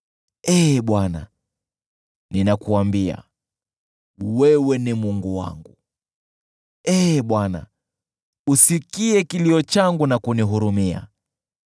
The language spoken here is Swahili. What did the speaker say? Ee Bwana , ninakuambia, “Wewe ni Mungu wangu.” Ee Bwana , usikie kilio changu na kunihurumia.